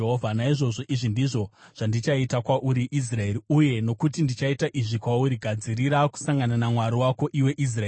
“Naizvozvo izvi ndizvo zvandichaita kwauri, Israeri, uye nokuti ndichaita izvi kwauri, gadzirira kusangana naMwari wako, iwe Israeri.”